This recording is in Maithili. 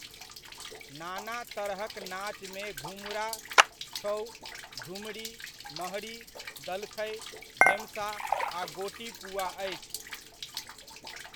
नाना तरहक नाचमे घुमुरा, छउ, झुमरि, महरी, दलखइ, धेमसा आ गोटीपुआ अछि।